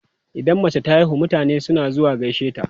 Idan mace ta haihu, mutane suna zuwa gaishe ta.